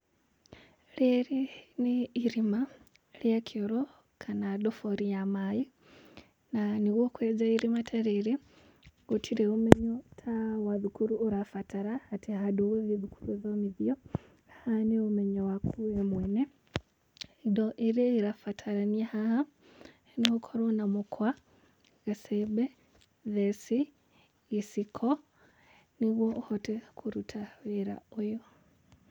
Rĩrĩ nĩ irima rĩa kĩoro, kana ndobori ya maaĩ, na nĩguo kwenja irima ta rĩrĩ, gũtirĩ ũmenyo ta wa thukuru ũrabatara, atĩ handũ ũgũthiĩ gũthomithio, haha nĩ ũmenyo waku we mwene. Indo iria irabatarania haha, no ũkorwo na mũkwa, gacembe, theci, gĩciko, nĩguo ũhote kũruta wĩra ũyũ.